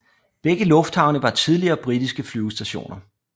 Begge lufthavne var tidligere britiske flyvestationer